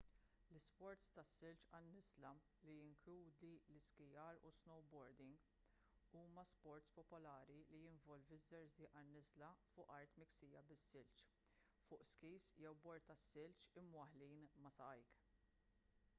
l-isports tas-silġ għan-niżla li jinkludi l-iskijar u s-snowboarding huma sports popolari li jinvolvi ż-żerżiq għan-niżla fuq art miksija bis-silġ fuq skis jew bord tas-silġ imwaħħlin ma' saqajk